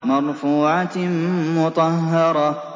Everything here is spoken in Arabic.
مَّرْفُوعَةٍ مُّطَهَّرَةٍ